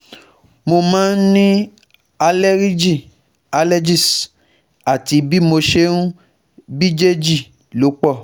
Mo máa ń ní àleríjì (allergies) àti bí mo ṣe ń bíjèjì ló pọ̀